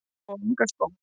Og enga skó?